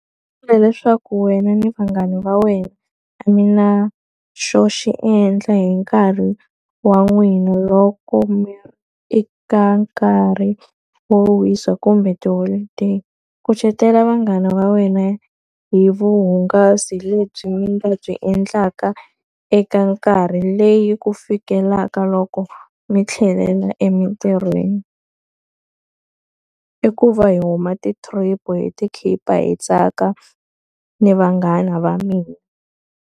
leswaku wena ni vanghana va wena a mi na xo xi endla hi nkarhi wa n'wina loko mi ri eka nkarhi yo wisa kumbe tiholidayi. Kucetela vanghana va wena hi vuhungasi lebyi mi nga byi endlaka eka nkarhi leyi ku fikela loko mi tlhelela emintirhweni. I ku va hi huma ti-trip, hi ti khipha, hi tsaka ni vanghana va mina.